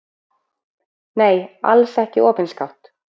Nei, alls ekki opinskátt.